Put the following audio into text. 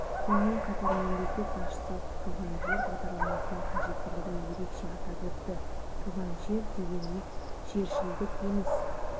сонымен қатар мемлекет басшысы туған жер бағдарламасының қажеттілігін ерекше атап өтті туған жер дегеніміз жершілдік емес